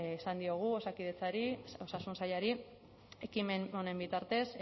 esan diogu osakidetzari osasun sailari ekimen honen bitartez